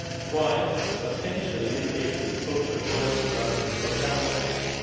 while substantially mitigating the social costs resulting from downsizing.